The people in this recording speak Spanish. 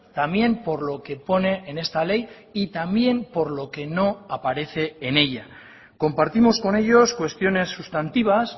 también por lo que pone en esta ley y también por lo que no aparece en ella compartimos con ellos cuestiones sustantivas